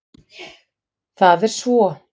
Það er svo.